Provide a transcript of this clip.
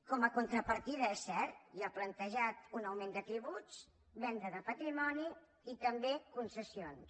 com a contrapartida és cert hi ha plantejat un augment de tributs venda de patrimoni i també concessions